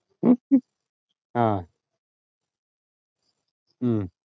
ആഹ് ഹും